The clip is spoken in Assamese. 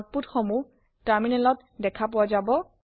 আউটপুত সমুহ টাৰ্মিনেল ত দেখাপোৱা যাব